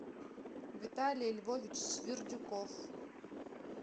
виталий львович свирдюков